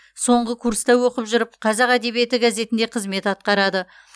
соңғы курста оқып жүріп қазақ әдебиеті газетінде қызмет атқарады